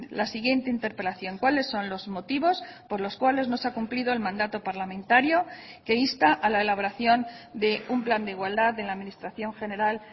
la siguiente interpelación cuáles son los motivos por los cuales no se ha cumplido el mandato parlamentario que insta a la elaboración de un plan de igualdad en la administración general